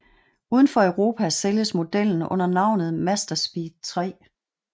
Udenfor Europa sælges modellen under navnet Mazdaspeed 3